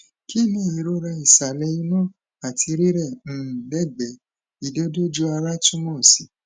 ki ni irora isale inu ati rirẹ um legbe idodooju ara tumo si